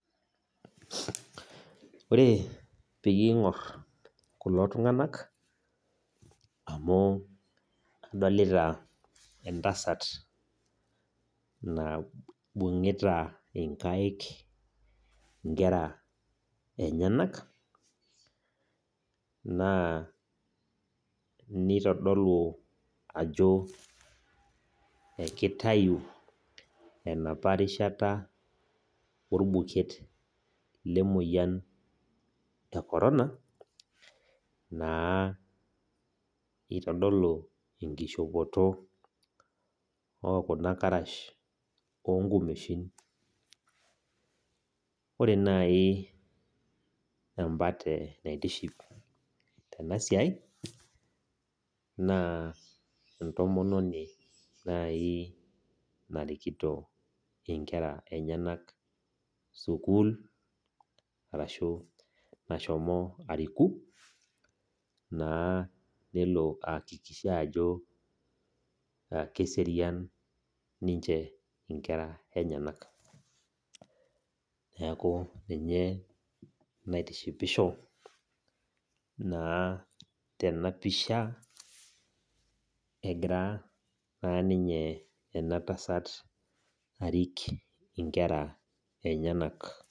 Ore peyie ing'or kulo tung'anak, amu adolita entasat naibung'ita inkaik inkera enyanak, naa nitodolu ajo ekitayu enapa rishata orbuket lemoyian e corona, naa itodolu enkishopoto okuna karash onkumeshin. Ore nai embate naitiship tenasiai, naa entomononi nai narikito inkera enyanak sukuul, arashu nashomo ariku, naa nelo aakikisha ajo keserian ninche inkera enyanak. Neeku ninye naitishipisho naa tenapisha, egira naa ninye ena tasat arik inkera enyanak.